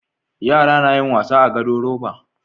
Yara nayin wasa a gado roba